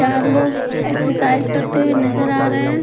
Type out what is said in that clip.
चार लोग एक्सरसाइज करते हुए नजर आ रहे हैं।